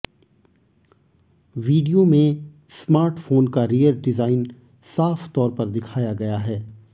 video में smartphone का rear design साफ तौर पर दिखाया गया है